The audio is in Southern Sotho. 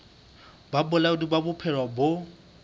ba bolaodi ba bophelo bo